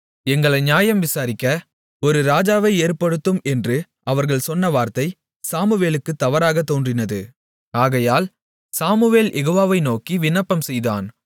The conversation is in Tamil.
எங்களை நியாயம் விசாரிக்க ஒரு ராஜாவை ஏற்படுத்தும் என்று அவர்கள் சொன்ன வார்த்தை சாமுவேலுக்குத் தவறானதாக தோன்றினது ஆகையால் சாமுவேல் யெகோவாவை நோக்கி விண்ணப்பம் செய்தான்